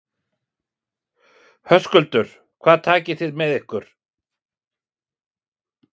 Höskuldur: Hvað takið þið með ykkur?